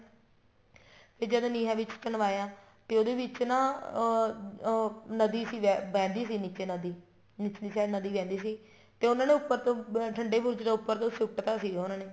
ਤੇ ਜਦ ਨੀਹਾਂ ਵਿੱਚ ਚੁਣਵਾਇਆ ਤੇ ਉਹਦੇ ਵਿੱਚ ਨਾ ਅਹ ਨਦੀ ਸੀ ਵਹਿੰਦੀ ਸੀ ਨੀਚੇ ਨਦੀ ਨੀਚੇ ਨੀਚੇ ਨਦੀ ਵਹਿੰਦੀ ਸੀ ਤੇ ਉਹਨਾ ਨੇ ਉੱਪਰ ਤੋ ਠੰਡੇ ਬੁਰਜ ਚੋ ਉੱਪਰ ਤੋ ਸੁੱਟ ਤਾਂ ਸੀਗਾ ਉਹਨਾ ਨੇ